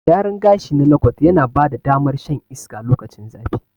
Gyaran gashi na lokot yana bada damar shan iska lokacin zafi.